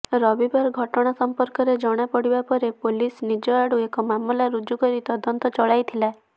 ରବିବାର ଘଟଣା ସଂପର୍କରେ ଜଣାପଡ଼ିବା ପରେ ପୋଲିସ ନିଜ ଆଡୁ ଏକ ମାମଲା ରୁଜୁ କରି ତଦନ୍ତ ଚଳାଇଥିଲା